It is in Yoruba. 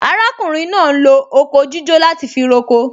Arákùnrin náà ń lo oko jíjó láti fi roko